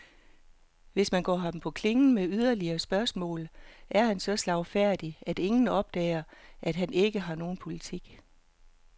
Hvis man går ham på klingen med yderligere spørgsmål, er han så slagfærdig, at ingen opdager, at han ikke har nogen politik.